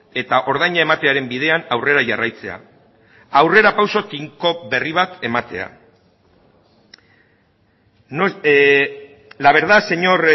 eta ordaina ematearen bidean aurrera jarraitzea aurrerapauso tinko berri bat ematea la verdad señor